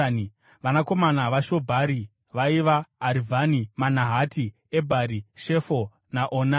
Vanakomana vaShobhari vaiva: Arivhani, Manahati, Ebhari, Shefo naOnami.